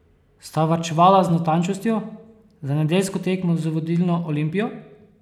Sta varčevala z natančnostjo za nedeljsko tekmo z vodilno Olimpijo?